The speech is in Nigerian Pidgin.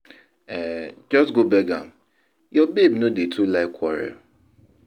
um Just go beg am, your babe no dey too like quarrel